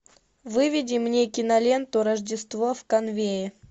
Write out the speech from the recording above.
выведи мне киноленту рождество в конуэе